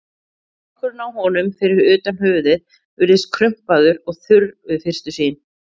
Skrokkurinn á honum, fyrir utan höfuðið, virðist krumpaður og þurr við fyrstu sýn.